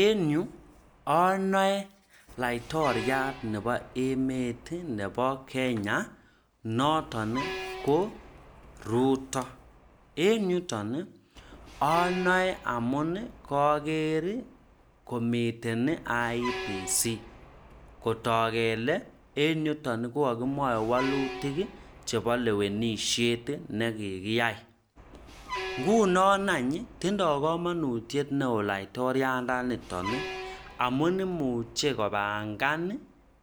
en yu anae laitoriat nebo emet nebo Kenya nooton ko Ruto. en yuuton anae amun kageer komiten IEBC. kotook kele en yuton kokakimwae walutik chebo lewenisiet nekikiyai. nguno nany tindoi komonutiet neoo laitoriandaniton amun muche kopangan